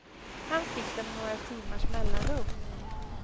Han fick dem med några timmars mellanrum.